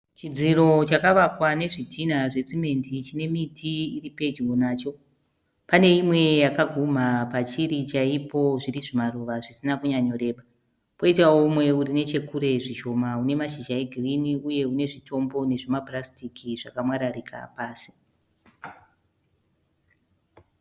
Chidziro chakavakwa nezvitina zvesimendi chine miti iri pedyo nacho. Pane imwe yakaguma pachiri chaipo zviri zvimaruva zvisina kunyanyoreba. Kwoitawo mumwe uri nechekure zvishoma une mashizha egirini uye une zvitombo nezvimapurasitiki zvakamwararika pasi.